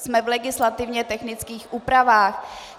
Jsme v legislativně technických úpravách.